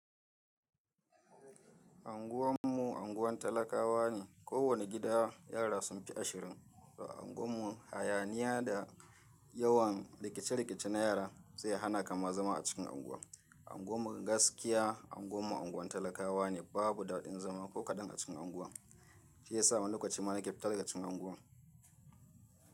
Anguwan mu unguwan talakawa ne. Ko wani gida yara sun fi ashirin. To anguwan mu hayaniya da yawan rikice-rikice na yara zai hana ka ma zama a cikin anguwan. Anguwan gaskiya unguwan mu unguwan talakawa ne. Babu daɗin zama ko kaɗan a cikin anguwan. Shi ya sa mu lokaci mana ke fitar da cikin anguwan.